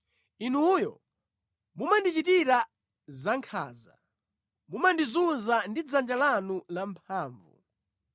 Inuyo mumandichitira zankhanza; mumandizunza ndi dzanja lanu lamphamvu.